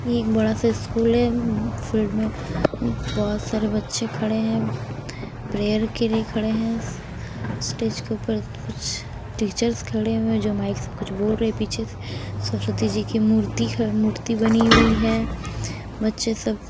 यह एक बड़ा सा स्कूल है फील्ड में बहुत सारे बच्चे खड़े हैं प्रेयर के लिए खड़े हैं स्टेज के ऊपर कुछ टीचर्स खड़े हुए हैं जो माइक से कुछ बोल रहे हैं पीछे सरस्वती जी की मूर्ति मूर्ति बनी हुई है बच्चे सब--